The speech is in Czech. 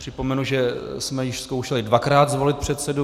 Připomenu, že jsme již zkoušeli dvakrát zvolit předsedu.